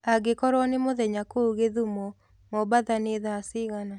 angĩkorwo nĩ mũthenya kũũ gĩthũmo mombatha nĩ thaa cĩĩgana